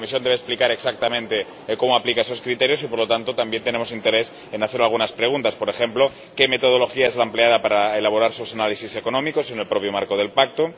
La Comisión debe explicar exactamente cómo aplica esos criterios y, por lo tanto, también tenemos interés en hacerle algunas preguntas, por ejemplo qué metodología es la empleada para elaborar sus análisis económicos en el propio marco del Pacto.